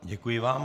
Děkuji vám.